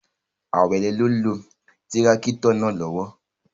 Awele n lo tirakito naa lowo